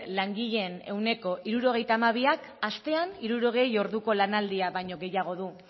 langileen ehuneko hirurogeita hamabiak astean hirurogei orduko lanaldia baino gehiago du